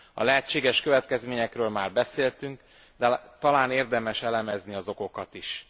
A lehetséges következményekről már beszéltünk, de talán érdemes elemezni az okokat is.